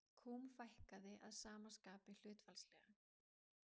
Kúm fækkaði að sama skapi hlutfallslega.